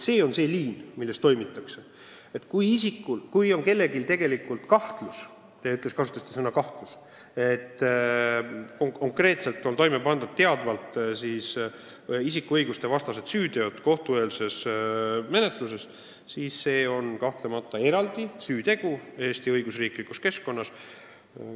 Kui mõnel isikul on kahtlus – te kasutasite sõna "kahtlus" –, et kohtueelses menetluses on konkreetselt toime pandud süüteod, mis rikuvad kellegi õigusi, siis seda tuleb kahtlemata Eesti õigusriigis uurida.